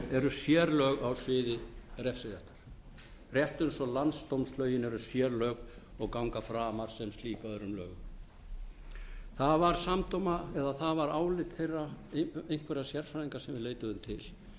eru sérlög á sviði refsiréttar rétt eins og landsdómslögin eru sérlög og ganga framar sem slík öðrum lögum það varð álit einhverra sérfræðinga sem við leituðum til